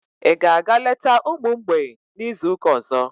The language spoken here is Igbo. Ị ga-aga leta ụmụ mgbei n'izu ụka ọzọ?